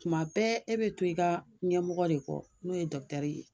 Tuma bɛɛ e bɛ to i ka ɲɛmɔgɔ de kɔ n'o ye dɔkutɛri ye